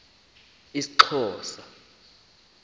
isxhosa